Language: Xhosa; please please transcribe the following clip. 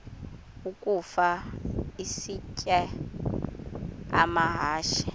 ukafa isitya amahashe